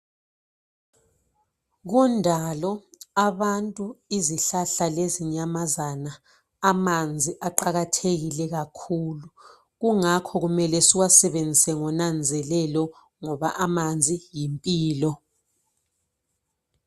kundalo abantu izihlahla lezinyamazana amanzi aqakathekile kakhulu kungakho kumele siwasebenzise ngonanzelelo ngoba amanzi yimpilo